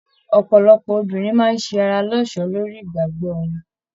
Ọpọlọpọ obìnrin máa se ará lọsọ́ lórí ìgbàgbọ wọn.